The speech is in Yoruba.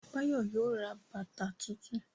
Báyọ̀ yóò ra bàbà tuntun